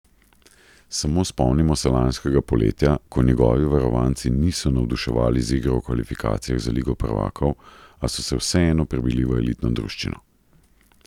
Samo spomnimo se lanskega poletja, ko njegovi varovanci niso navduševali z igro v kvalifikacijah za Ligo prvakov, a so se vseeno prebili v elitno druščino.